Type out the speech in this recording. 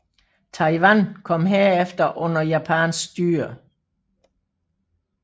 Taiwan kom herefter under japansk styre